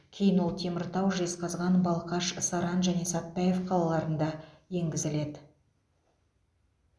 кейін ол теміртау жезқазған балқаш саран және сәтбаев қалаларында енгізіледі